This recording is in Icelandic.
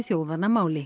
þjóðanna máli